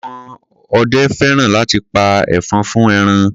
Àwọn ọdẹ fẹ́ràn láti pa ẹfọ̀n fún ẹran.